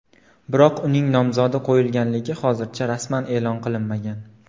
Biroq uning nomzodi qo‘yilganligi hozircha rasman e’lon qilinmagan.